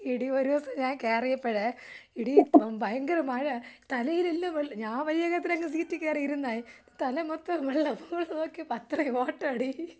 എടി ഒരൂസം ഞാൻ കയറിയപ്പോഴ് എടി ഭയങ്കര മഴ തലയിൽ എല്ലാം വെള്ളം ഞാൻ വയ്യകതരെ അങ്ങ് സീറ്റിൽ കയറിയിരുന്നേ തല മൊത്തം വെള്ളം ഫുള്ള് നോക്കിയപ്പോൾ അത്രയും വാട്ടാടി.